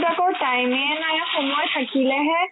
কৰ time য়ে নাই সময় থাকিলেহে